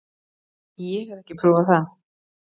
Ég hef ekki prófað það.